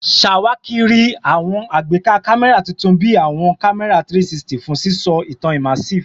Ṣawakiri awọn agbeka kamẹra tuntun bi awọn kamẹra 360 fun sisọ itan immersive